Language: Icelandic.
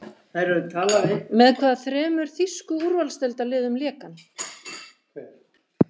Með hvaða þremur þýsku úrvalsdeildarliðum lék hann?